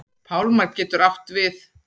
Pálmar getur átt við